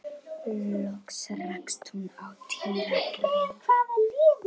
Loks rakst hún á Týra greyið.